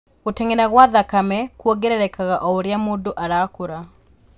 Gũteng’era gwa thakame kuongererekaga oũrĩa mũndũ arakũra